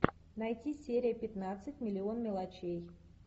найти серия пятнадцать миллион мелочей